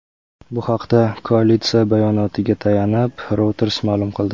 Bu haqda koalitsiya bayonotiga tayanib, Reuters ma’lum qildi.